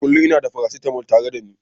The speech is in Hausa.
Kullum ina da paracetamol tare da ni.